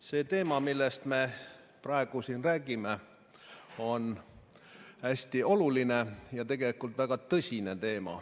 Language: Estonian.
See teema, millest me praegu siin räägime, on hästi oluline ja tegelikult väga tõsine.